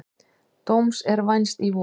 Dóms er vænst í vor.